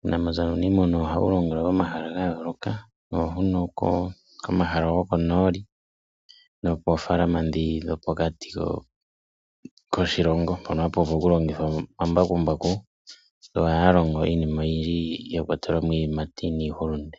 Uunamapya nuunimuna ohawu longelwa momahala ga yooloka, ohuno komahala gokonooli nopoofalama ndhi dhopokati koshilongo mpono hapu vulu oku longithwa omambakumbaku, yo ohaya longo iinima oyindji ya kwatela mo iiyimati niihulunde.